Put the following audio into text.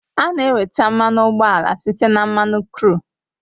A na-enweta mmanụ ụgbọala site na mmanụ kru